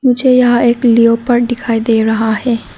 मुझे यहां एक लियोपॉर्ड दिखाई दे रहा है।